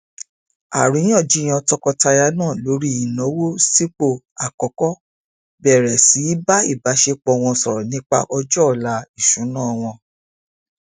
àríyànjiyàn tọkọtaya náà lórí ìnáwó sìpò àkọkọ bẹrẹ sí í bá ìbáṣepọ wọn sọrọ nípa ọjọ ọla ìṣúná wọn